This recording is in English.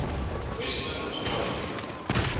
western astrology